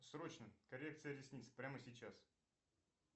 срочно коррекция ресниц прямо сейчас